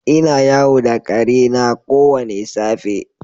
Ina yawo da ƙare na kowane safe.